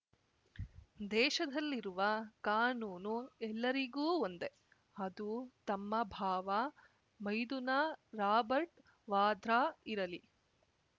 ದೇಶದಲ್ಲಿರುವ ಕಾನೂನು ಎಲ್ಲರಿಗೂ ಒಂದೇ ಅದು ತಮ್ಮ ಬಾವ ಮೈದುನ ರಾಬರ್ಟ್ ವಾದ್ರಾ ಇರಲಿ